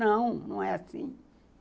Não, não é assim.